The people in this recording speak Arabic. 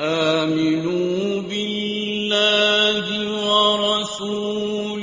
آمِنُوا بِاللَّهِ وَرَسُولِهِ